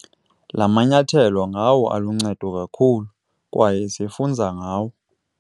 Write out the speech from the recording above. La manyathelo ngawo aluncedo kakhulu, kwaye sifunza ngawo.